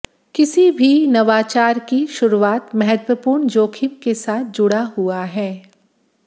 किसी भी नवाचार की शुरूआत महत्वपूर्ण जोखिम के साथ जुड़ा हुआ है